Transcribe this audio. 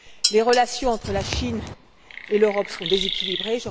Les relations entre la Chine et l'Europe sont déséquilibrées.